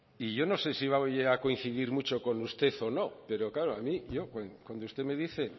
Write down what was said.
y yo no sé si va a coincidir mucho con usted o no pero claro a mí yo cuando usted me dice